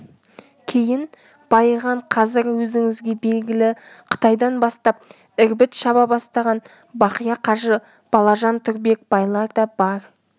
кейін байыған қазір өзіңізге белгілі қытайдан бастап ірбіт шаба бастаған бақия қажы балажан тұрбек байлар да бар